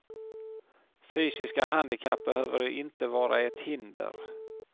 Fysiska handikapp behöver inte vara ett hinder.